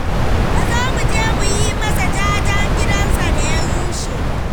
Ka zo mu je mu yi masa jajen gidansa da ya rushe.